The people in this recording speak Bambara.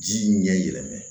Ji ɲɛ yɛlɛmana